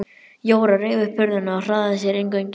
Jóra reif upp hurðina og hraðaði sér inn göngin.